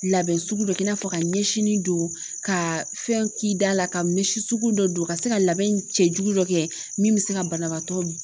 Labɛn sugu dɔ i n'a fɔ ka ɲɛsin don ka fɛn k'i da la ka mise sugu dɔ don ka se ka labɛn cɛ jugu dɔ kɛ min bɛ se ka banabaatɔ min